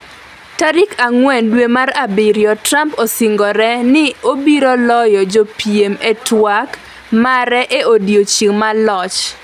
tarik ang'wen dwe mar abiriyo: Trump osingore ni obiro loyo jopiem e twak mare e odiechieng' mar Loch